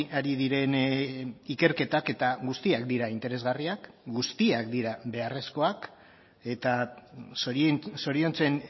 ari diren ikerketak eta guztiak dira interesgarriak guztiak dira beharrezkoak eta zoriontzen